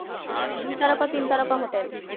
তিন তারকা হোটেল